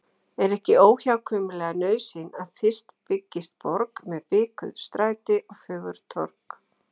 Er ekki óhjákvæmileg nauðsyn að fyrst byggist borg með bikuð stræti og fögur torg.